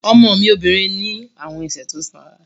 Ọmọ mi obìnrin ní àwọn ẹsẹ̀ tó sanra